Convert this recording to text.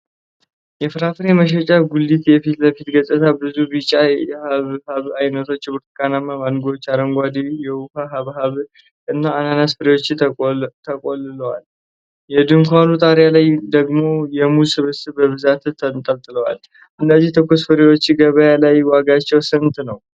የፍራፍሬ መሸጫ ጉሊት የፊት ለፊት ገፅታ፣ ብዙ ቢጫ የሐብሐብ አይነቶች፣ ብርቱካናማ ማንጎዎች፣ አረንጓዴ የውሃ ሐብሐቦችና የአናናስ ፍሬዎች ተቆልለዋል። ከድንኳኑ ጣሪያ ላይ ደግሞ የሙዝ ስብስቦች በብዛት ተንጠልጥለዋል፤ እነዚህ ትኩስ ፍራፍሬዎች ገበያ ላይ ዋጋቸው ስንት ነው?